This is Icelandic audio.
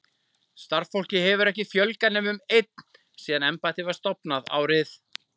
Starfsfólki hefur ekki fjölgað nema um einn síðan embættið var stofnað, árið